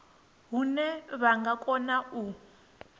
hune vha nga kona u